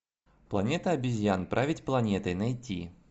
планета обезьян править планетой найти